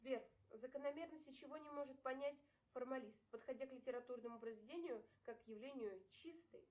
сбер закономерности чего не может понять формалист подходя к литературному произведению как явлению чистой